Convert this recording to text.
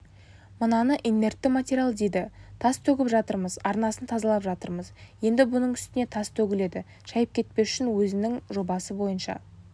мынаны инертті материал дейді тас төгіп жатырмыз арнасын тазалап жатырмыз енді бұның үстіне тас төгіледі шайып кетпеу үшін өзінің жобасы бойынша